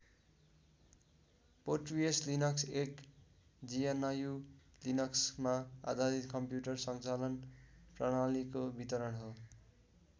Porteus Linux एक GNU लिनक्समा आधारित कम्प्युटर सञ्चालन प्रणालीको वितरण हो।